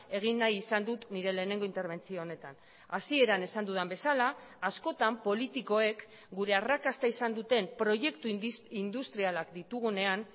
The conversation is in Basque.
egin nahi izan dut nire lehenengo interbentzio honetan hasieran esan dudan bezala askotan politikoek gure arrakasta izan duten proiektu industrialak ditugunean